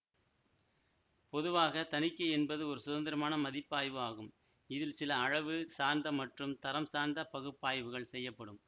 பொதுவாக தணிக்கை என்பது ஒரு சுதந்திரமான மதிப்பாய்வு ஆகும் இதில் சில அளவு சார்ந்த மற்றும் தரம் சார்ந்த பகுப்பாய்வுகள் செய்யப்படும்